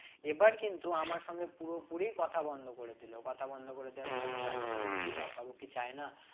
এবার কিন্তু আমার সঙ্গে পুরোপুরি কথা বন্ধ করে দিল কথা বন্ধ করে দেওয়ার পর আমি রাজকে বললাম কি ব্যাপার ও কি চায় না